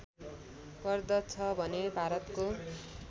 गर्दछ भने भारतको